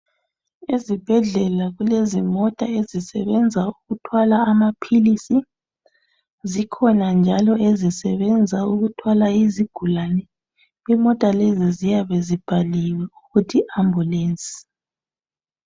Ezibhedlela kulezimota ezisebenza ukuthwala amaphilisi zikhona njalo ezisebenza ukuthwala izigulane ziyabe imota lezi ziyabe zibhaliwe ukuthi ambulance .